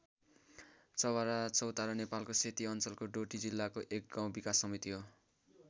चवरा चौतारा नेपालको सेती अञ्चलको डोटी जिल्लाको एक गाउँ विकास समिति हो।